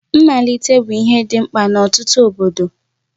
Mmalite bụ ihe dị mkpa n'ọtụtụ obodo.